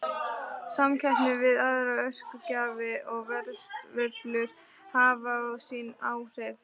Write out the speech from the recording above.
Samkeppni við aðra orkugjafa og verðsveiflur hafa og sín áhrif.